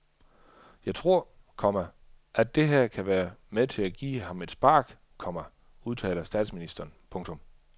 Jeg tror, komma at det her kan være med til at give ham et spark, komma udtaler statsministeren. punktum